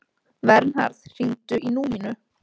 Vernharð, hringdu í Númínu.